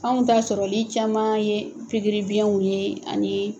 Anw ta sɔrɔli caman ye pikiri biɲɛw ye ani